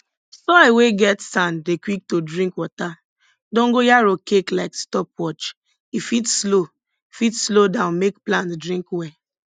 soil we get sand dey quick to drink water dongoyaro cake like stopwatch e fit slow fit slow down make plant drink well